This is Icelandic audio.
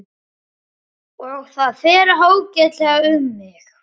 Og það fer ágætlega um mig.